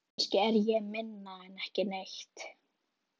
Kannski er ég minna en ekki neitt.